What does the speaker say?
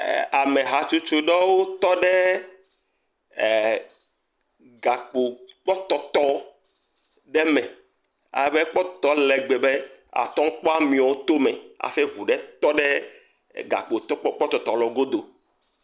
Amehatsotso aɖe tɔ ɖe ɛɛɛ gakpokpɔtɔtɔ ɖe me. Alebe kpɔtɔtɔ le ale gbegbe be ate ŋu kpɔ amewo to me aƒe ŋu ɖe tɔ ɖe gakpotɔkpɔ, kpɔtɔtɔ godo.